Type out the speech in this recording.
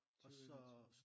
20 21